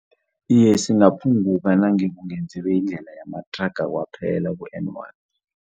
Iye, singaphunguka nange kungenziwa indlela yamathraga kwaphela ku-N one.